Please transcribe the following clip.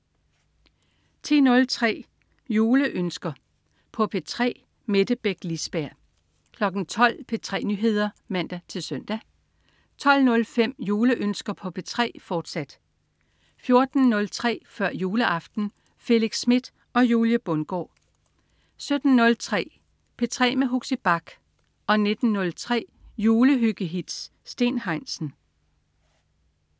10.03 Juleønsker på P3. Mette Beck Lisberg 12.00 P3 Nyheder (man-søn) 12.05 Juleønsker på P3, fortsat 14.03 Før juleaften. Felix Smith og Julie Bundgaard 17.03 P3 med Huxi Bach 19.03 Julehyggehits. Steen Heinsen